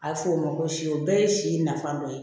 A bɛ fɔ o ma ko si o bɛɛ ye si nafa dɔ ye